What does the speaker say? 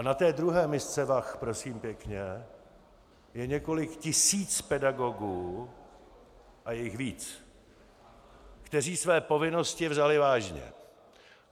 A na té druhé misce vah, prosím pěkně, je několik tisíc pedagogů, a je jich víc, kteří své povinnosti vzali vážně.